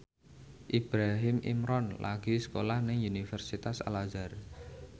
Ibrahim Imran lagi sekolah nang Universitas Al Azhar